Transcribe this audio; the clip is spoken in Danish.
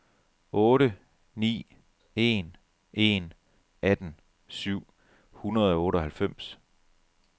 otte ni en en atten syv hundrede og otteoghalvfems